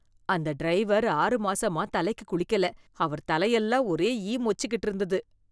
அந்த டிரைவர் ஆறு மாசமா தலைக்கு குளிக்கல, அவர் தலையெல்லாம் ஒரே ஈ மொச்சிக்கிட்டு இருந்துது.